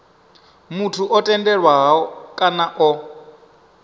muthu o tendelwaho kana o